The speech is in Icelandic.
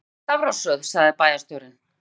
Við drögum í stafrófsröð sagði bæjarstjórinn.